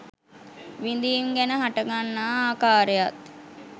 විඳීම් ගැන හටගන්නා ආකාරයත්